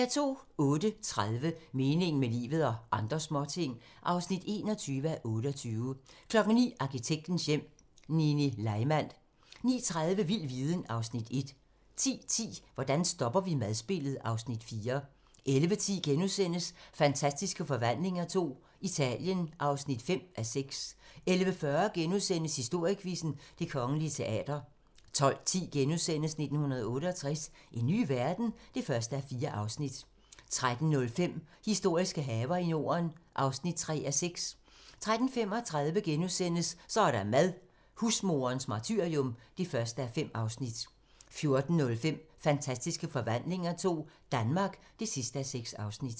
08:30: Meningen med livet - og andre småting (21:28) 09:00: Arkitektens Hjem: Nini Leimand 09:30: Vild viden (Afs. 1) 10:10: Hvordan stopper vi madspildet? (Afs. 4) 11:10: Fantastiske Forvandlinger II - Italien (5:6)* 11:40: Historiequizzen: Det Kongelige Teater * 12:10: 1968 - en ny verden? (1:4)* 13:05: Historiske haver i Norden (3:6) 13:35: Så er der mad - husmoderens martyrium (1:5)* 14:05: Fantastiske Forvandlinger II - Danmark (6:6)